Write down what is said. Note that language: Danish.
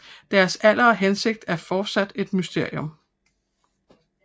Deres alder og hensigt er fortsat et mysterium